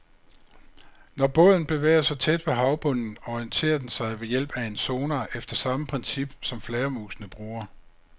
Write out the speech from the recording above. Når båden bevæger sig tæt ved havbunden, orienterer den sig ved hjælp af en sonar efter samme princip, som flagermusene bruger.